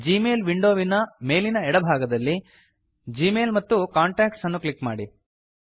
ಜೀ ಮೇಲ್ ವಿಂಡೋವಿನ ಮೇಲಿನ ಎಡ ಭಾಗದಲ್ಲಿ ಜಿಮೇಲ್ ಮತ್ತು ಕಾಂಟಾಕ್ಟ್ಸ್ ಅನ್ನು ಕ್ಲಿಕ್ ಮಾಡಿ